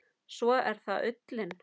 Svo er það ullin.